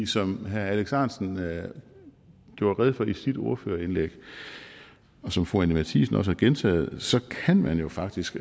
som herre alex ahrendtsen gjorde rede for i sit ordførerindlæg og som fru anni matthiesen også har gentaget så kan man jo faktisk